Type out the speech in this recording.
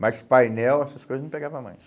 Mas painel, essas coisas não pegava mais.